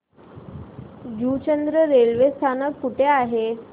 Juchandra railway स्थानक कुठे आहे